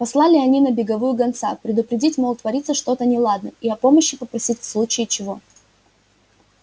послали они на беговую гонца предупредить мол творится что-то неладное и о помощи попросить в случае чего